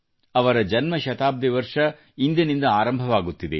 ಅವರ ಜನ್ಮಶತಾಬ್ದಿ ವರ್ಷ ಇಂದಿನಿಂದ ಆರಂಭವಾಗುತ್ತಿದೆ